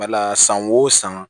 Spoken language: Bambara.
Bala san wo san